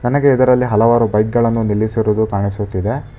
ನನಗೆ ಇದರಲ್ಲಿ ಹಲವಾರು ಬೈಕ್ ಗಳನ್ನು ನಿಲ್ಲಿಸಿರುವುದು ಕಾಣಿಸುತ್ತಿದೆ.